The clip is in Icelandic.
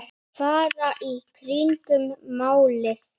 Fara í kringum málið?